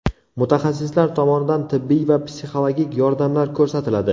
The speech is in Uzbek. Mutaxassislar tomonidan tibbiy va psixologik yordamlar ko‘rsatiladi.